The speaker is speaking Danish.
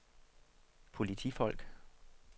politifolk